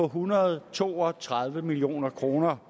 hundrede og to og tredive million kroner